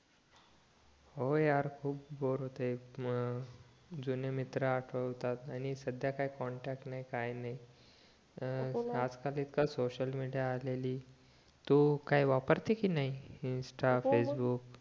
हो यार खूप बोर होतंय म जुने मित्र आठवतात आणि साध्या काही कॉन्ट्रॅक्ट नाही काय नी तर आज काल इतका सोसिअल मीडिया आलेली तू काही वापरते कि नाही इन्स्टा फेसबुक